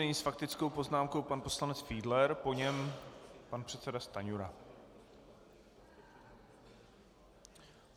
Nyní s faktickou poznámkou pan poslanec Fiedler, po něm pan předseda Stanjura.